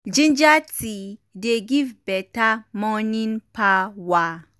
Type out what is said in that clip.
ginger tea dey give beta morning power.